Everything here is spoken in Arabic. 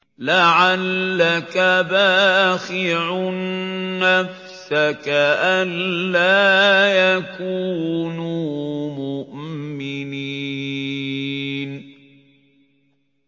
لَعَلَّكَ بَاخِعٌ نَّفْسَكَ أَلَّا يَكُونُوا مُؤْمِنِينَ